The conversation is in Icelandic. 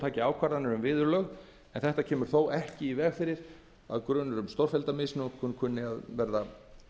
taki ákvarðanir um viðurlög en þetta kemur þó ekki í veg fyrir að grunur um stórfellda misnotkun kunni að verða